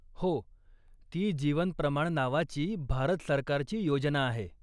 हो. ती जीवन प्रमाण नावाची भारत सरकारची योजना आहे.